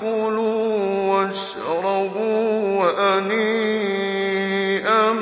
كُلُوا وَاشْرَبُوا هَنِيئًا